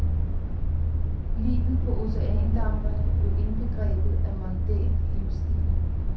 Livet på oceandamperne blev indbegrebet af mondæn livsstil.